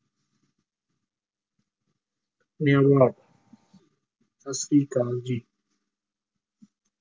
ਸਤਿ ਸ੍ਰੀ ਅਕਾਲ ਜੀ।